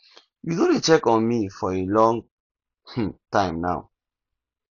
you no dey check on me for a long um time now